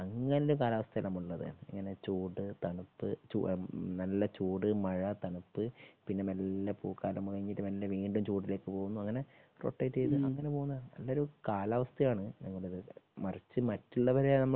അങ്ങനെ ഒരു കാലാവസ്ഥയിലാ നമ്മള് ഉള്ളത്. ഇങ്ങനെ ചൂട് തണുപ്പ് നല്ല ചൂട് മഴ തണുപ്പ് പിന്നെ മെല്ലെ പൂക്കാലം തുടങ്ങിയിട്ട് പിന്നെ വീണ്ടും മെല്ലെ ചൂടിലേക്ക് പോകുന്നു. അങ്ങനെ രോടയിറ്റ് ചെയ്തു അങ്ങനെ പോകുന്ന ഒരു കാലാവസ്ഥയാണ് നമ്മുടേത്. മറിച്ച് മറ്റുള്ളവരെ